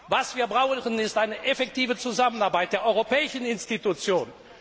Was wir brauchen, ist eine effektive Zusammenarbeit der europäischen Institutionen.